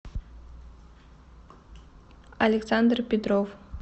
александр петров